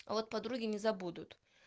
вот подруги не забудут